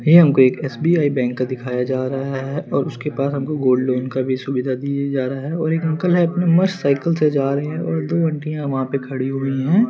ये हमको एक एस_बी_आई बैंक का दिखाया जा रहा है उसके पास हमको गोल्ड लोन का भी सुविधा दिया जा रहा है और एक अंकल मस्त साइकिल से जा रहे है और आंटीया वह पर खड़ी हुई है ।